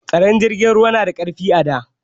Tsaron jirgin ruwa na da ƙarfi a da.